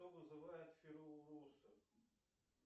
кто вызывает